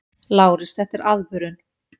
LÁRUS: Þetta er aðvörun!